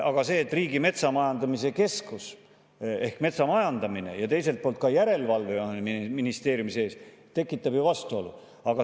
Aga see, et Riigimetsa Majandamise Keskus ehk metsamajandamine ja teiselt poolt ka järelevalve on selles ministeeriumis, tekitab ju vastuolu.